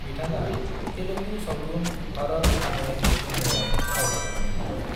बिथाङा तेलुगु सावथुन भारत अने नेनूआव फाव खालादोंमोन।